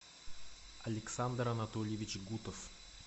александр анатольевич гутов